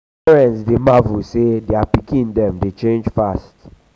parents dey marvel sey um dier pikin dem dey change fast.